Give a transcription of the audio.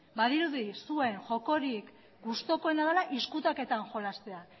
badirudi zuen jokorik gustukoena dela ezkutaketan jolastea